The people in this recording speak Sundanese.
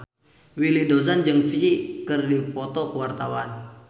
Willy Dozan jeung Psy keur dipoto ku wartawan